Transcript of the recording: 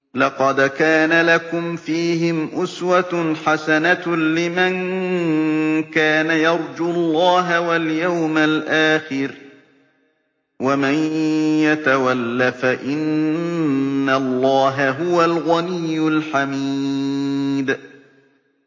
لَقَدْ كَانَ لَكُمْ فِيهِمْ أُسْوَةٌ حَسَنَةٌ لِّمَن كَانَ يَرْجُو اللَّهَ وَالْيَوْمَ الْآخِرَ ۚ وَمَن يَتَوَلَّ فَإِنَّ اللَّهَ هُوَ الْغَنِيُّ الْحَمِيدُ